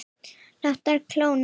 Látnar kólna.